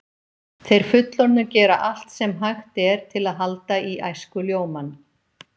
Þeir fullorðnu gera allt sem hægt er til að halda í æskuljómann.